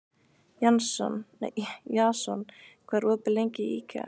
Jason, hvað er opið lengi í IKEA?